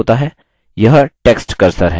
यह text cursor है